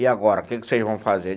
E agora, o que que vocês vão fazer?